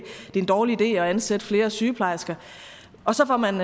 en dårlig idé at ansætte flere sygeplejersker og så får man